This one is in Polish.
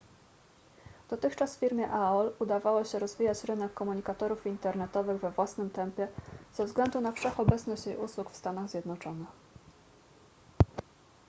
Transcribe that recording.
dotychczas firmie aol udawało się rozwijać rynek komunikatorów internetowych we własnym tempie ze względu na wszechobecność jej usług w stanach zjednoczonych